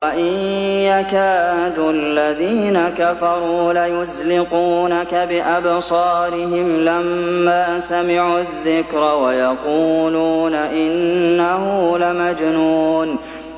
وَإِن يَكَادُ الَّذِينَ كَفَرُوا لَيُزْلِقُونَكَ بِأَبْصَارِهِمْ لَمَّا سَمِعُوا الذِّكْرَ وَيَقُولُونَ إِنَّهُ لَمَجْنُونٌ